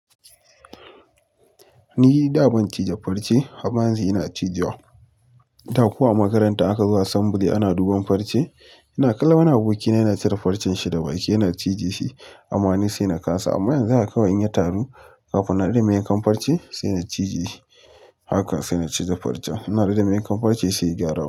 Ni da ban cije farce, amma yanzu ina cije wa. Da ko, a a makaranta aka zo assembly ana duban farce, ina kallon wani abokina yana cire farcen shi da wake yana cije shi amma ni sai na kasa. Amma yanzu haka in ya taru, kafin na rike main kan farce sai na cije shi. Haka sai na cije farcen. Ina riga mai yankan farce sai ya gyaru.